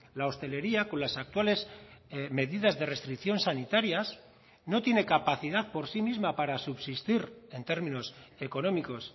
la hostelería con las actuales medidas de restricción sanitarias no tiene capacidad por sí misma para subsistir en términos económicos